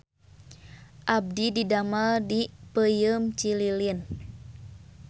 Abdi didamel di Peuyeum Cililin